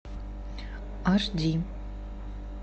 аш ди